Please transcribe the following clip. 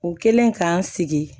U kɛlen k'an sigi